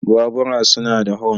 Bubura suna da hon.